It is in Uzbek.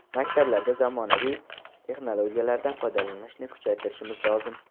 Maktablarda zamonaviy texnologiyalardan foydalanishni kuchaytirishimiz lozim.